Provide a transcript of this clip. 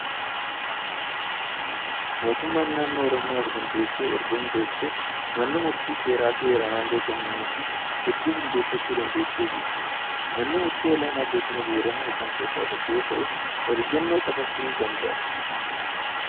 Mootummaan naannoo Oromiyaa of dandeessee erga hundooftee manneen murtii seeraa fi heeraan aangoo kennameefii hedduu hundeeffachuu dandeessee jirti. Manni Murtii Olaanaa Godina Booranaa isaan keessaa tokko yoo ta'u, oliyyannoo qofaa furuu danda'a.